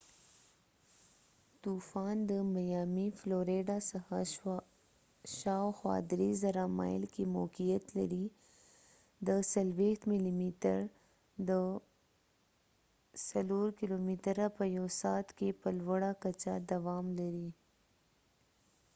طوفان، د میامی، فلوریډا څخه شاوخوا ۳،۰۰۰ مایل کې موقعیت لري، د ۴۰ ملی متر ۶۴ کلومتره په يو سعت کي په لوړه کچه دوام لري